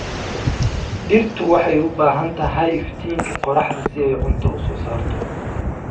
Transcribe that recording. Dhirtu waxay u baahan tahay iftiinka qoraxda si ay cunto u soo saarto.